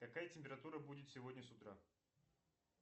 какая температура будет сегодня с утра